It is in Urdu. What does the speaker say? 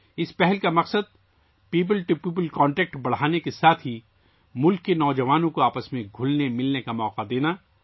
اس اقدام کا مقصد پیپل ٹو پیپل کنیکٹ کو بڑھانے کے ساتھ ساتھ ملک کے نوجوانوں کو ایک دوسرے کے ساتھ گھل مل جانے کا موقع فراہم کرنا ہے